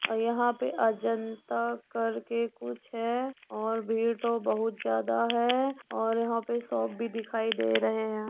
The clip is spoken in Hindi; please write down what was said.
और यहाँ पे अजंता कर के कुछ है और भीड़ तो बोहत जादा है और यहाँ पे सॉप भी दिखाई दे रहे हैं।